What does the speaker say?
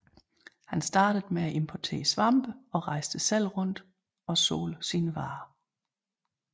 Han startede med at importere svampe og rejste selv rundt og solgte sine varer